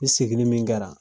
I seginni min kɛra